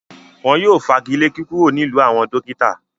Wọn yóò fagilé kíkúrò nílùú àwọn “dókítà”.